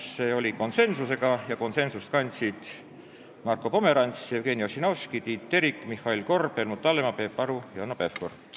Kõik otsused on tehtud konsensusega, konsensust kandsid Marko Pomerants, Jevgeni Ossinovski, Tiit Terik, Mihhail Korb, Helmut Hallemaa, Peep Aru ja Hanno Pevkur.